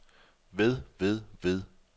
ved ved ved